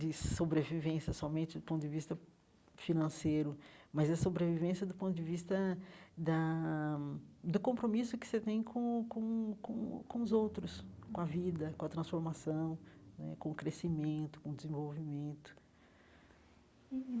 de sobrevivência somente do ponto de vista financeiro, mas a sobrevivência do ponto de vista da do compromisso que você tem com com com com os outros, com a vida, com a transformação né, com o crescimento, com o desenvolvimento.